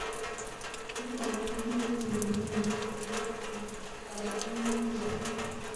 Nitok ko ki neo nekonu betet ab karotik eng borto.